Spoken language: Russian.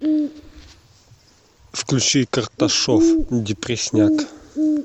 включи карташов депресняк